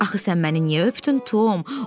Axı sən məni niyə öpdün, Tom?